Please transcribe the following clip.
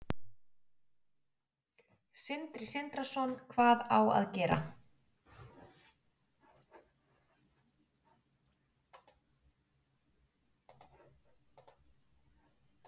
Sindri Sindrason: Hvað á að gera?